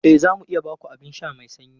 E, za mu iya ba ku abin sha mai sanyi.